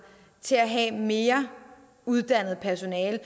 til at have mere uddannet personale